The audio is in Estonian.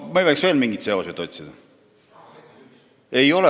Me võiks nii ju veel mingeid seoseid otsida.